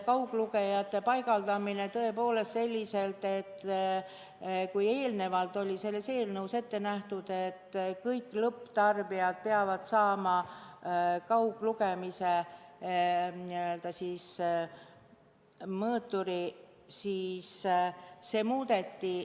Kauglugejate paigaldamise teemat arutati tõepoolest selliselt, et kui eelnevalt oli selles eelnõus ette nähtud, et kõik lõpptarbijad peavad saama kauglugemise funktsiooniga mõõturi, siis seda muudeti.